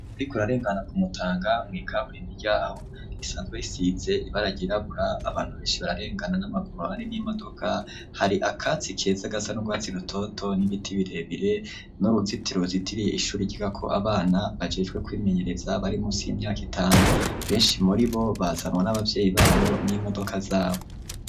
Uriko urarengana ku Mutanga mw'ikaburimbi ryaho risanzwe risize ibara ryrabura, abantu benshi bararengana n'amaguru, hari n'imodoka, hari akatsi keza gasa n'urwatsi rutoto n'ibiti birebire n'uruzitiro ruzitiriye ishuri ryigako abana bajejwe kwimenyereza bari munsi y'imyaka itanu, benshi muri bo bazanwa n'abavyeyi babo n'imodoka zabo.